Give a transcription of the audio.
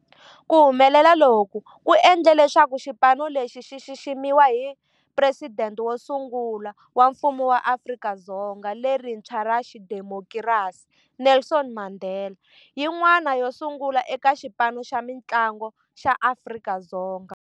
Ku humelela loku ku endle leswaku xipano lexi xi xiximiwa hi Presidente wo sungula wa Mfumo wa Afrika-Dzonga lerintshwa ra xidemokirasi, Nelson Mandela, yin'wana yo sungula eka xipano xa mintlangu xa Afrika-Dzonga.